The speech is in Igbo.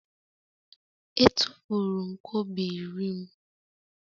E tụfuru m kobo iri m.